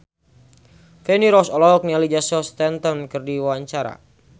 Feni Rose olohok ningali Jason Statham keur diwawancara